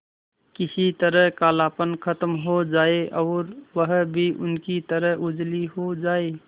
किसी तरह कालापन खत्म हो जाए और वह भी उनकी तरह उजली हो जाय